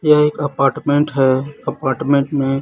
यह एक आपटमेंट है आपटमेंट में--